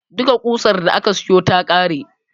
Duka ƙusar da aka siyo ta ƙare.